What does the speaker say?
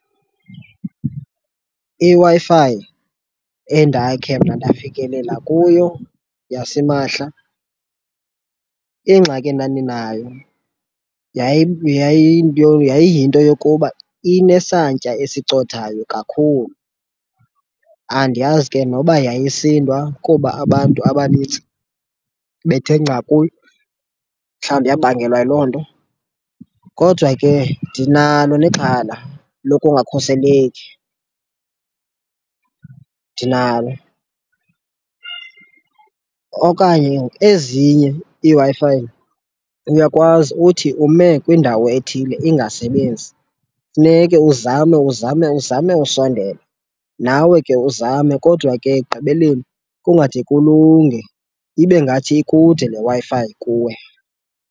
IWi-Fi endakhe mna ndafikelela kuyo yasimahla ingxaki endandinayo yayiyinto yokuba inesantya esicothayo kakhulu. Andiyazi ke noba yayisindwa kuba abantu abanintsi bethe nca kuyo, mhlawumbi yabangelwa yiloo nto. Kodwa ke ndinalo nexhala lokungakhuseleki, ndinalo. Okanye ezinye iiWi-Fi uyakwazi uthi ume kwindawo ethile ingasebenzi, funeke uzame uzame uzame usondela, nawe ke uzame kodwa ke ekugqibeleni kungade kulunge, ibe ngathi ikude le Wi-Fi kuwe.